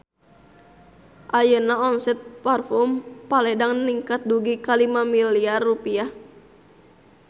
Ayeuna omset Parfume Paledang ningkat dugi ka 5 miliar rupiah